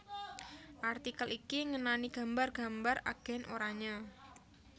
artikel iki ngenani gambar gambar Agen Oranye